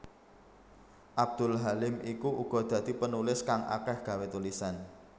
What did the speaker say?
Abdul Halim iku uga dadi penulis kang akeh gawé tulisan